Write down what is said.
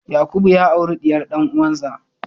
Yakubu ya auri diyar dan'uwansa.